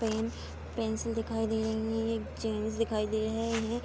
Pen pencil दिखाई दे रहीं हैं। एक जेंट्स दिखाई दे रहे हैं।